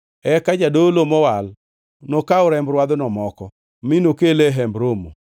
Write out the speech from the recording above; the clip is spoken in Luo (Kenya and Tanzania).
Eka jadolo mowal nokaw remb rwadhno moko, mi nokele e Hemb Romo.